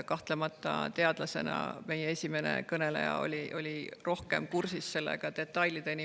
Kahtlemata oli esimene kõneleja teadlasena sellega rohkem kursis, detailideni.